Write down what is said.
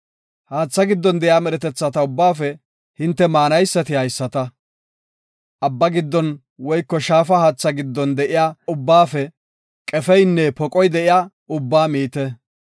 “Haatha giddon de7iya medhetetha ubbaafe hinte maanaysati haysata; Abbaa giddon woyko shaafa haatha giddon de7iya ubbaafe qefeynne poqoy de7iya ubbaa miite.